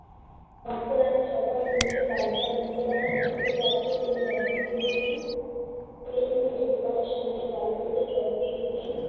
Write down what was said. ধপ করে একটা সকাল নিমিষে পালটে গেল। ইন্দুবালা ভাতের হোটেলে আসতে তুলে নিয়ে এসে দোকানের সামনে কালো দুটো চক দিয়ে লিখলেন,